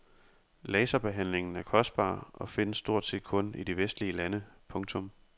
Laserbehandlingen er kostbar og findes stort set kun i de vestlige lande. punktum